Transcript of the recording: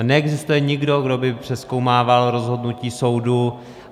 A neexistuje nikdo, kdo by přezkoumával rozhodnutí soudu.